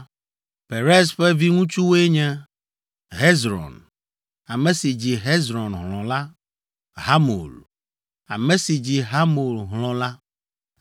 Perez ƒe viŋutsuwoe nye: Hezron, ame si dzi Hezron hlɔ̃ la; Hamul, ame si dzi Hamul hlɔ̃ la.